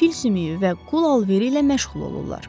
fil sümüyü və qul alveri ilə məşğul olurlar.